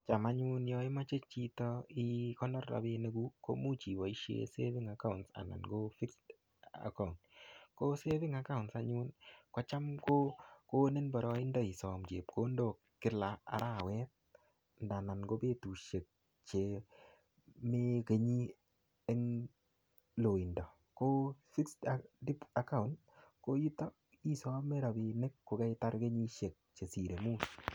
Cham anyun yon imoche chito ikonor rabinik kuk komuch iboishen saving account anan ko fixed account, ko saving account anyun kocham ko konin boroindo isom chepkondok kila arawet ndanan ko kobetushek che mii kenyi en loindo, ko fixed account koyuto isome rabinik ko keitar kenyishek chesire muut.